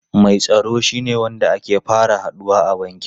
Mai tsaro shine wanda ake fara haduwa a banki.